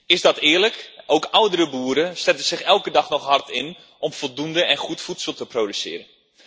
Is dat eerlijk? Ook oudere boeren zetten zich elke dag nog hard in om voldoende en goed voedsel te produceren.